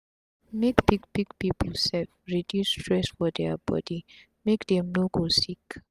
make big big pipu sef reduce stress for dia body make dem no go sick